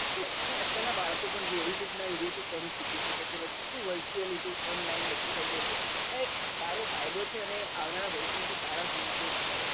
તો અને અત્યાર ના બાળકો જોવો youtube ના video થી ગણું સીખી સકે છે બધું virtual online બધું થઇ ગયું છે આમાં એક સારો ફાયદો અને આવનારા ભવિષ્ય માટે સારા સંકેત છે